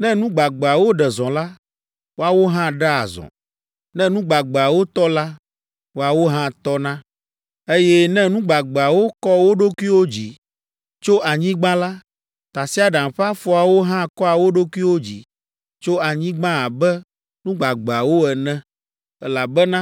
Ne nu gbagbeawo ɖe zɔ la, woawo hã ɖea zɔ; ne nu gbagbeawo tɔ la, woawo hã tɔna, eye ne nu gbagbeawo kɔ wo ɖokuiwo dzi tso anyigba la, tasiaɖam ƒe afɔawo hã kɔa wo ɖokuiwo dzi tso anyigba abe nu gbagbeawo ene, elabena